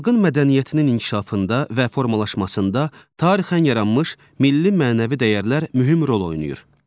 Xalqın mədəniyyətinin inkişafında və formalaşmasında tarixən yaranmış milli-mənəvi dəyərlər mühüm rol oynayır.